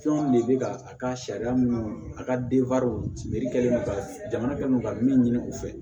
Fɛnw de bɛ ka a ka sariya mun a ka kɛlen don ka jamana kɛlen don ka min ɲini u fɛ